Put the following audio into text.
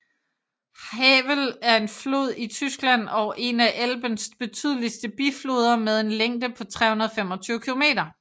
Havel er en flod i Tyskland og en af Elbens betydeligste bifloder med en længde på 325 km